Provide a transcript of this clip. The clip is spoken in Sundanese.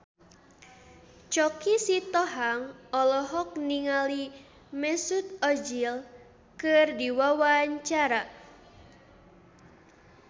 Choky Sitohang olohok ningali Mesut Ozil keur diwawancara